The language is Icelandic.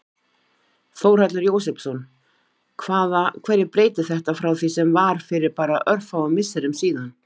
Þórhallur Jósefsson: Hvaða, hverju breytir þetta frá því sem var fyrir bara örfáum misserum síðan?